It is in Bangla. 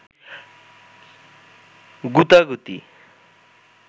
গুতাগুতি